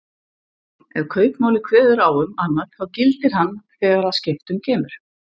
Ef kaupmáli kveður á um annað þá gildir hann þegar að skiptum kemur.